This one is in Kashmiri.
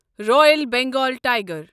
royal Bengal tiger